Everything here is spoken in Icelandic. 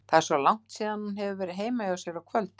Það er svo langt síðan hún hefur verið heima hjá sér á kvöldin.